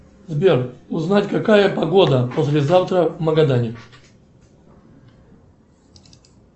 сбер узнать какая погода послезавтра в магадане